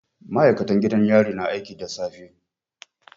Ma'aikatan gidan yari na aiki da safe